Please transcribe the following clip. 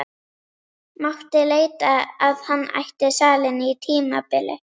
Mátti heita að hann ætti salinn á tímabili.